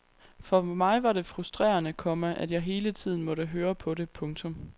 For mig var det frustrerende, komma at jeg hele tiden måtte høre på det. punktum